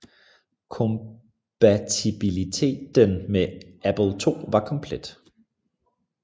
Kompatibilieten med Apple II var komplet